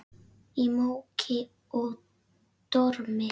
Í móki og dormi.